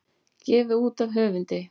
Gefið út af höfundi.